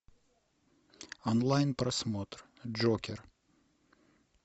онлайн просмотр джокер